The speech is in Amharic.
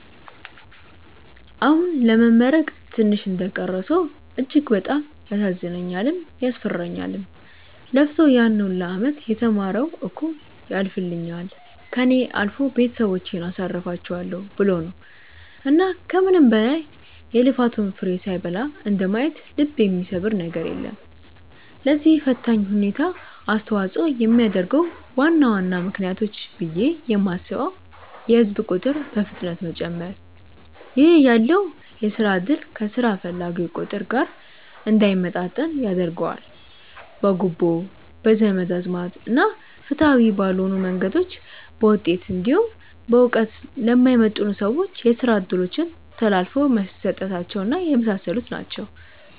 አሁን ለመመረቅ ትንሽ እንደቀረው ሰው እጅግ በጣም ያሳዝነኛልም፤ ያስፈራኛልም። ለፍቶ ያን ሁላ አመት የተማረው እኮ ያልፍልኛል፣ ከእኔ አልፎ ቤተሰቦቼን አሳርፋቸዋለው ብሎ ነው። እና ከምንም በላይ የልፋቱን ፍሬ ሳይበላ እንደማየት ልብ የሚሰብር ነገር የለም። ለዚህ ፈታኝ ሁኔታ አስተዋጽኦ የሚያደርጉ ዋና ዋና ምክንያቶች ብዬ የማስበው የህዝብ ቁጥር በፍጥነት መጨመር ( ይህ ያለውን የስራ እድል ከስራ ፈላጊው ቁጥር ጋር እንዳይመጣጠን ያደርገዋል።) ፣ በጉቦ፣ በዘመድ አዝማድ እና ፍትሃዊ ባልሆኑ መንገዶች በውጤት እንዲሁም በእውቀት ለማይመጥኑ ሰዎች የስራ እድሎች ተላልፈው መሰጠታቸው እና የመሳሰሉት ናቸው።